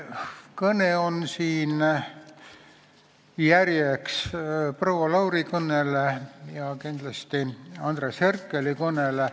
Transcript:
Minu kõne on järg proua Lauri kõnele ja kindlasti Andres Herkeli kõnele.